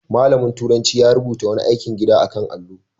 Malamin turanci ya rubuta wani aikin gida a kan allo.